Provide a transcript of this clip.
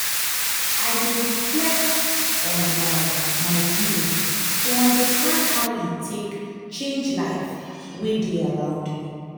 i dey reflect on um my giving to understand how e take change life wey dey around me.